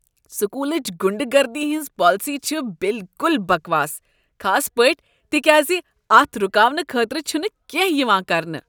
سکولٕچ غنڈہ گردی ہنٛز پالیسی چھ بالکل بکواس خاص پٲٹھۍ تکیاز اتھ رکاونہٕ خٲطرٕ چھنہٕ کیٚنہہ یوان کرنہٕ۔